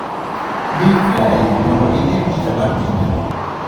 Di kae mondo ine picha mar tiendeno.